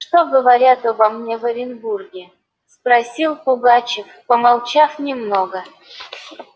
что говорят обо мне в оренбурге спросил пугачёв помолчав немного